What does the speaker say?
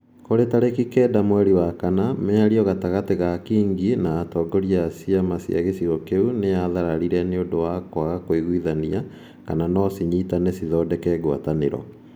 Kũrĩ tarĩki kenda mweri wa kana, mĩario gatagatĩ ka Kingi na atongoria a ciama cia gĩcigo kĩu nĩ yathararire nĩ ũndũ wa kũaga kũigwithania kana no cinyitane cithondeke ngwatanĩro.